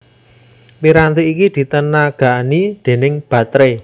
Piranti iki ditenagani déning bateré